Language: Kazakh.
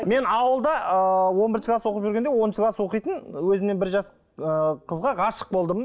мен ауылда ы он бірінші класс оқып жүргенде оныншы класс оқитын өзімнен бір жас ы қызға ғашық болдым